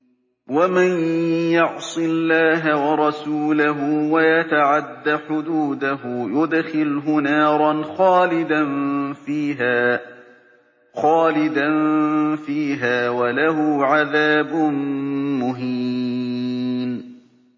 وَمَن يَعْصِ اللَّهَ وَرَسُولَهُ وَيَتَعَدَّ حُدُودَهُ يُدْخِلْهُ نَارًا خَالِدًا فِيهَا وَلَهُ عَذَابٌ مُّهِينٌ